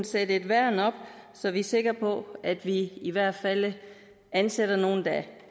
sætte et værn op så vi er sikre på at vi i hvert fald ansætter nogle der